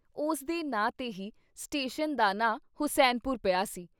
ਉਸਦੇ ਨਾਂ ਤੇ ਹੀ ਸਟੇਸ਼ਨ ਦਾ ਨਾ ਹੁਸੈਨਪੁਰ ਪਿਆ ਸੀ।